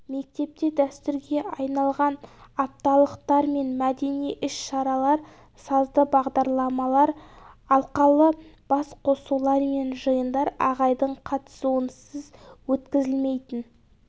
мектепте дәстүрге айналған апталықтар мен мәдени іс-шаралар сазды бағдарламалар алқалы басқосулар мен жиындар ағайдың қатысуынсыз өткізілмейтін